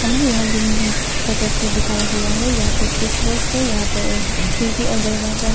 हमे यहाँ hall dining room का तस्वीर दिखाया गया है। यहां पर स्विच बॉक्स है। यहां पर एक खिड़की और दरवाजा है।